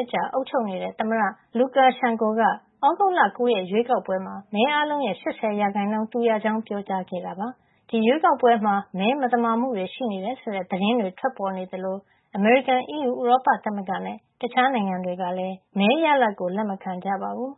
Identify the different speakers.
Speaker 1: စ်ကြာ အုပ်ချုပ်နေတဲ့ သမ္မတ Lukashenko က သြဂုတ်လ ၉ ရက်ရွေးကောက်ပွဲမှာ မဲအားလုံးရဲ့ ၈၀ % သူရကြောင်း ပြောကြားခဲ့ပါတယ်။ အတိုက်အခံ Svetlana Tikhanovskaya ကတော့ ၁၀ % ပဲ ရခဲ့တာပါ။ ဒီရွေးကောက်ပွဲမှာ မဲမသမာမှု တွေရှိတယ် ဆိုတဲ့ သတင်းတွေ ထွက်ပေါ်နေသလို အမေရိကန်၊ အီးယူ ဥရောပသမဂ္ဂနဲ့ တခြားနိုင်ငံတွေကလည်း မဲရလဒ်ကို လက်မခံကြပါဘူ
Speaker 2: း